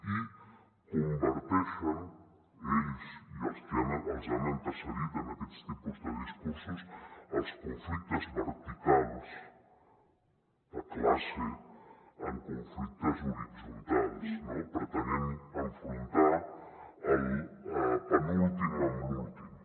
i converteixen ells i els que els han precedit en aquests tipus de discursos els conflictes verticals de classe en conflictes horitzontals no pretenent enfrontar el penúltim amb l’últim